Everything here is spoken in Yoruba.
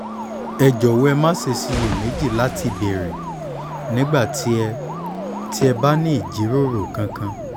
ẹ jọ̀wọ́ má ṣe ṣiyè méjì láti béèrè nígbà tí ẹ tí ẹ bá ní ìjíròrò kankan